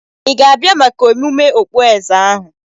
Ị ga-abịa maka emume okpueze ahu?